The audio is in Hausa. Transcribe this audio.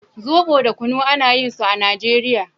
we have alcoholic drinks and non alcoholic drinks